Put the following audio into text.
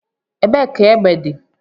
Ebee ka egbe dị?